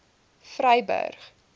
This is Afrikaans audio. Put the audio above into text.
vryburg